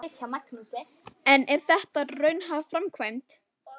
En er þetta raunhæf framkvæmd?